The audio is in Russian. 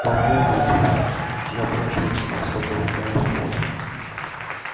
по-моему ответ напрашивается сам собой да можно